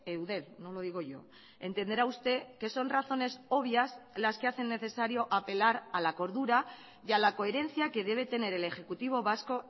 eudel no lo digo yo entenderá usted que son razones obvias las que hacen necesario apelar a la cordura y a la coherencia que debe tener el ejecutivo vasco